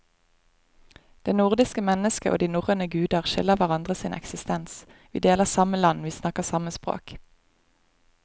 Det nordiske mennesket og de norrøne guder skylder hverandre sin eksistens, vi deler samme land, vi snakker samme språk.